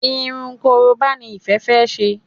Irun koroba ní Ìfẹ fè ṣe.